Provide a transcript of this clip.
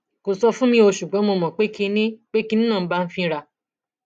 kò sọ fún mi o ṣùgbọn mo mọ pé kinní pé kinní náà ń bá a fínra